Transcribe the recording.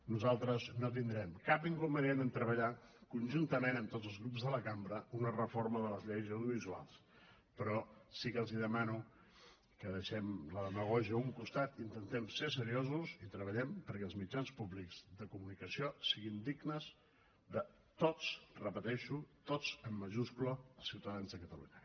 nosaltres no tindrem cap inconvenient amb treballar conjuntament amb tots els grups de la cambra una reforma de les lleis audiovisuals però sí que els demano que deixem la demagògia a un costat intentem ser seriosos i treballem perquè els mitjans públics de comunicació siguin dignes de tots ho repeteixo tots en majúscula els ciutadans de catalunya